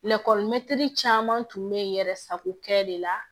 caman tun bɛ yɛrɛ sago kɛ de la